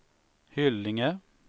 Hyllinge